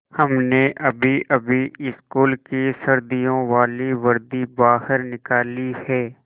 हमने अभीअभी स्कूल की सर्दियों वाली वर्दी बाहर निकाली है